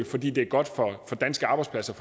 fordi det er godt for danske arbejdspladser